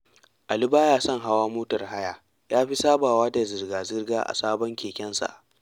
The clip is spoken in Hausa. Ali ba ya son hawa motar haya, ya fi sabawa da zirga-zirga a sabon kekensa